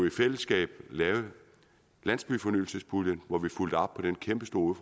i fællesskab lavet landsbyfornyelsespuljen hvor vi fulgte op på den kæmpestore